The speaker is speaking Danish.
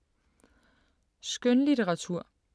Skønlitteratur